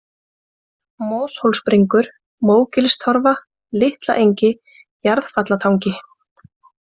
Moshólsbringur, Mógilstorfa, Litlaengi, Jarðfallatangi